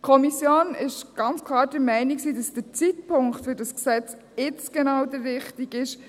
Die Kommission war ganz klar der Meinung, dass der Zeitpunkt für dieses Gesetz jetzt genau der richtige ist.